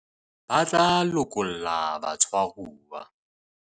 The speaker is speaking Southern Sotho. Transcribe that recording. ba tla lokolla batshwaruwa